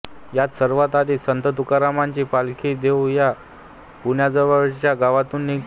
यात सर्वात आधी संत तुकारामाची पालखी देहू या पुण्याजवळच्या गावातुन निघते